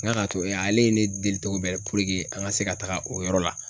N ka to yan ale ye ne deli tɔgɔ bɛ ye puruke an ka se ka taaga o yɔrɔ la.